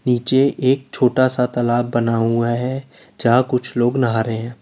नीचे एक छोटा सा तालाब बना हुआ है जहां कुछ लोग नहा रहे हैं।